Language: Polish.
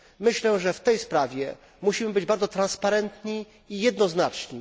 Myślę, że w tej sprawie musimy być bardzo transparentni i jednoznaczni.